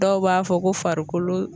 Dɔw b'a fɔ ko farikolo